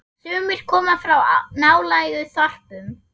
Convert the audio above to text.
Sumir koma frá nálægum þorpum.